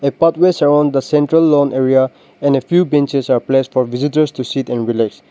pathway surround the central lawn area and a few benches are placed for visitors to sit and relax.